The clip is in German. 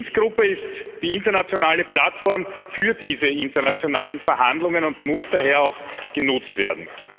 Die Minsk Gruppe ist die internationale Plattform für diese internationalen Verhandlungen und muss daher auch genutzt werden.